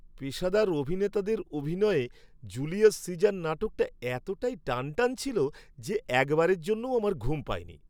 পেশাদার অভিনেতাদের অভিনয়ে 'জুলিয়াস সিজার' নাটকটা এতটাই টানটান ছিল যে একবারের জন্যও আমার ঘুম পায়নি।